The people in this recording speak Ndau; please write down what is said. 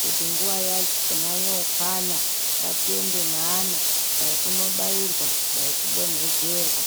kuti nguwa yachona yokwana ngatiende neana dai kunobairwa dai kudonhedzerwa.